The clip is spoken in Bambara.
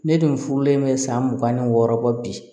Ne dun furulen bɛ san mugan ni wɔɔrɔ bɔ bi